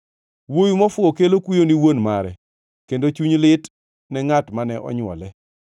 Wuowi mofuwo kelo kuyo ni wuon mare kod chuny lit ne ngʼat mane onywole.